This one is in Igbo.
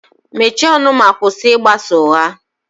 Mechie ọnụ ma kwụsị ịgbasa ụgha